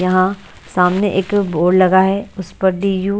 यहां सामने एक बोर्ड लगा है उसपर डी_यू --